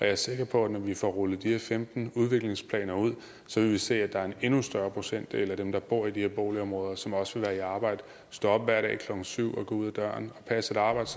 er sikker på at vi når vi får rullet de her femten udviklingsplaner ud så vil se at der er en endnu større procentdel af dem der bor i de her boligområder som også vil være i arbejde som stå op hver dag klokken syv og gå ud af døren og passe et arbejde